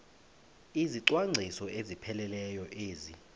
izicwangciso ezipheleleyo ezi